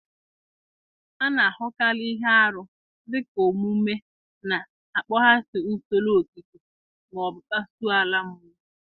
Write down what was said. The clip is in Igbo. A na-ahụkarị ihe arụ dị ka omume na-akpaghasị usoro okike ma ọ bụ kpasuo ala mmụọ.